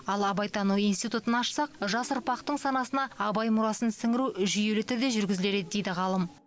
ал абайтану институтын ашсақ жас ұрпақтың санасына абай мұрасын сіңіру жүйелі түрде жүргізілер еді дейді ғалым